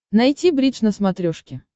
найти бридж на смотрешке